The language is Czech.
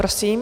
Prosím.